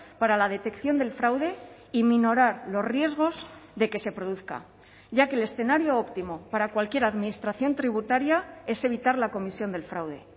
para la detección del fraude y minorar los riesgos de que se produzca ya que el escenario óptimo para cualquier administración tributaria es evitar la comisión del fraude